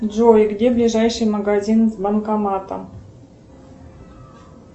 джой где ближайший магазин с банкоматом